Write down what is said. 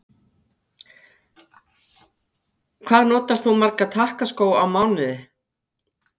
Hvað notar þú marga takkaskó á mánuði?